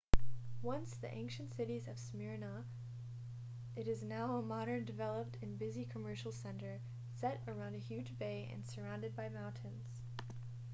once the ancient city of smyrna it is now a modern developed and busy commercial center set around a huge bay and surrounded by mountains